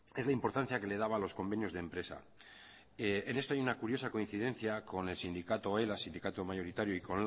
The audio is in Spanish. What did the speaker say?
es la importancia que le daba a los convenios de empresa en esto hay una curiosa coincidencia con el sindicato ela sindicato mayoritario y